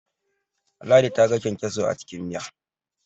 ladi ta ga kyankyaso a cikin Miya